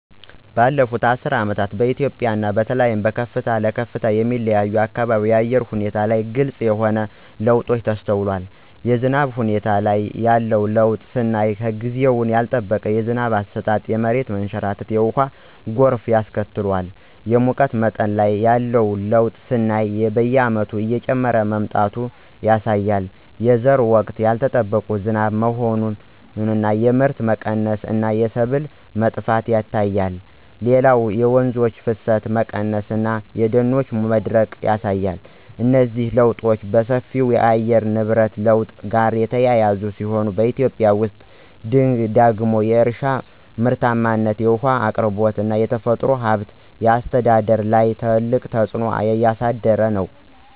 ባለፉት አስርት ዓመታት በኢትዮጵያ እና በተለይም በከፍታ ለከፍታ የሚለያዩ አካባቢዎች የአየር ሁኔታ ላይ ግልጽ የሆኑ ለውጦች ተስተውለዋል። የዝናብ ሁኔታ ላይ ያለው ለውጥ ስናይ ጊዜውን ያልጠበቀ የዝናብ አሰጣጥ የመሬት መንሸራተትና የውሃ ጎርፍ ያስከትላል። የሙቀት መጠን ላይ ያለው ለውጥ ስናይ በየዓመቱ እየጨመረ መምጣቱ ያሳያል። የዘር ወቅት ያልጠበቀ ዝናብ መሆን የምርት መቀነስ እና የሰብል መጥፋት ይታያል። ሌላው የወንዞች ፍሰት መቀነስ እና የደኖች መድረቅ ያሳያል። እነዚህ ለውጦች በሰፊው ከየአየር ንብረት ለውጥ ጋር የተያያዙ ሲሆን፣ በኢትዮጵያ ውስጥ ደግሞ የእርሻ ምርታማነት፣ የውሃ አቅርቦት እና የተፈጥሮ ሀብት አስተዳደር ላይ ትልቅ ተጽዕኖ እያሳደሩ ነው።